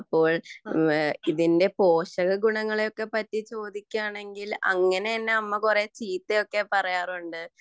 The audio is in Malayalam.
ഇതിന്റെ പോഷക ഗുണങ്ങളെയൊക്കെ കുറിച്ച് പറയുകയാണെങ്കിൽ അങ്ങനെ എന്റെ അമ്മ എന്നെ കുറെ ചീത്ത ഒക്കെ പറയാറുണ്ട്